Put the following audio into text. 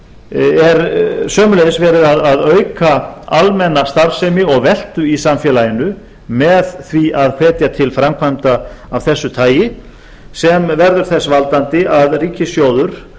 er sömuleiðis verið að auka almenna starfsemi og veltu í samfélaginu með því að hvetja til framkvæmda af þessu tagi sem verður þess valdandi að ríkissjóður